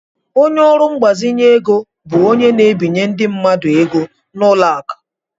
Ọnye orụ mgbazinye égo bụ ónyé na- ebinye ndị mmadụ ego n' ụlọ akụ.